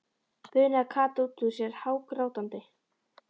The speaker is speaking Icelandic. bunaði Kata út út sér hágrátandi.